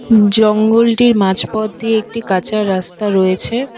জঙ্গলটির মাঝপথ দিয়ে একটি কাঁচা রাস্তা রয়েছে।